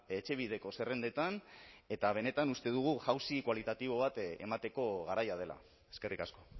etxebideko zerrendetan eta benetan uste dugu jauzi kualitatibo bat emateko garaia dela eskerrik asko